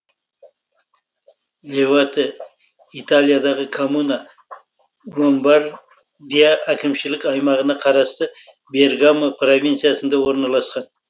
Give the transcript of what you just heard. левате италиядағы коммуна ломбардия әкімшілік аймағына қарасты бергамо провинциясында орналасқан